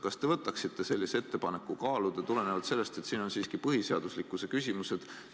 Kas te võtaksite sellise ettepaneku kaaluda tulenevalt sellest, et siin on kõne all siiski põhiseaduslikkuse küsimused?